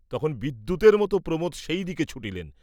তখন বিদ্যুতের মত প্রমোদ সেইদিকে ছুটিলেন!